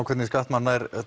hvernig skattmann nær